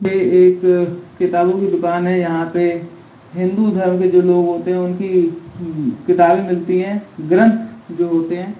ये एक किताबों की दुकान है यहाँ पे हिन्दू धर्म के जो लोग होते है उनकी किताबें मिलती है ग्रंथ जो होती है।